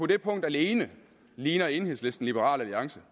det punkt alene ligner enhedslisten liberal alliance